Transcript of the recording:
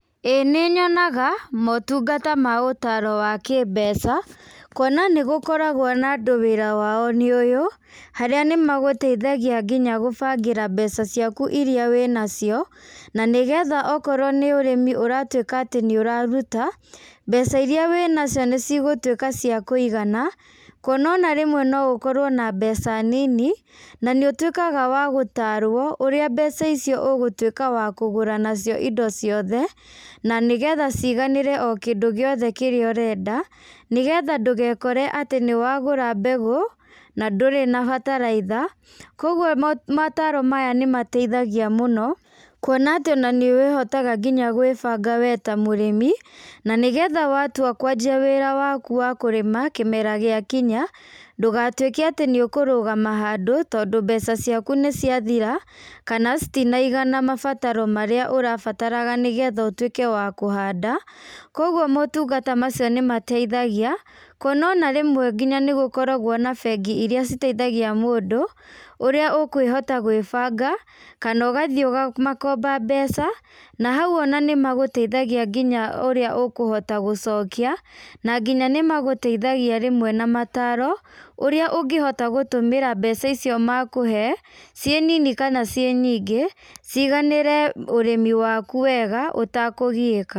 ĩ nĩnyonaga, motungata ma ũtaro wa kĩ mbeca, kuona nĩgũkoragwo na andũ wĩra wao nĩ ũyũ, harĩa nĩmagũteithagia nginya gũbangĩra mbeca ciaku iria wĩnacio, na nĩgetha okorwo nĩ ũrĩmi ũratwĩka atĩ nĩũraruta, mbeca iria wĩnacio nĩcigũtwĩka cia kũigana, kuona ona rĩmwe noũkorwo na mbeca nini, na nĩũtwĩkaga wa gũtarwo ũrĩa mbeca icio ũgũtwĩka wa kúgũra nacio indo ciothe, na nĩgetha ciganĩre o kĩndũ gĩothe kĩrĩa ũrenda, nĩgetha ndũgekore atĩ nĩwagũra mbegũ, na ndũrĩ na bataraitha, koguo ma mataro maya nĩmateithagia mũno, kuona atĩ nanĩũrĩhotaga nginya gwĩbanga we ta mũrĩmi, na nĩgetha watua kwanjia wĩra waku wa kũrĩma, kĩmera gĩakinya, ndũgatwĩke atĩ nĩũkũrũgama handũ, tondũ mbeca ciaku níciathira, kana citinaigana mabataro marĩa ũrabataraga nĩgetha ũtwĩke wa kũhanda, koguo mũtugo ta macio nĩmateithagia, kũona ona rĩmwe nginya nĩgũkoragwo na bengi iria citeithagia mũndũ, ũrĩa ũkũhota gwĩbanga, kanogathiĩ ũkamakomba mbeca, na hau ona nĩmagũteithagia nginya ũrĩa ũkũhota gũcokia, na nginya nĩmagũteithagia rĩmwe na mataro, ũrĩa ũngĩhota gũtũmĩra mbeca icio makũhee, ciĩ nini kana ciĩ nyingĩ, ciganĩre ũrĩmi waku wega.